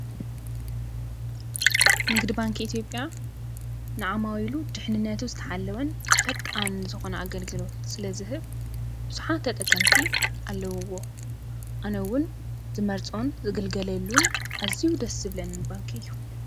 ንግዲ ባንኪ ኢ/ያ ንዓማዊሉ ድሕንነቱ ዝተሓለወን ፈጣን ዝኮነ ኣገልግሎት ስለዝህብ ብዙሓት ተጠቀምቲ ኣለውዎ፡፡ ኣነ እውን ዝመርፆን ዝግልገለሉ ኣዝዩ ደስ ዝብለኒ ባንኪ እዩ፡፡